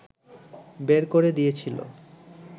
বের করে দিয়েছিলো